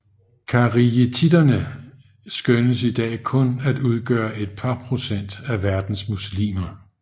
Kharijitterne skønnes i dag kun at udgøre et par procent af verdens muslimer